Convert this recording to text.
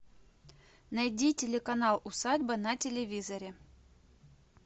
найди телеканал усадьба на телевизоре